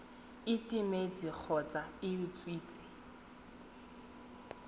e timetse kgotsa e utswitswe